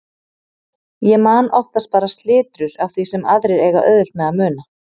Ég man oftast bara slitrur af því sem aðrir eiga auðvelt með að muna.